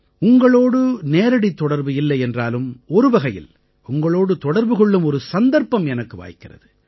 உங்களோடு நேரடித் தொடர்பு இல்லை என்றாலும் ஒருவகையில் உங்களோடு தொடர்பு கொள்ளும் ஒரு சந்தர்ப்பம் எனக்கு வாய்க்கிறது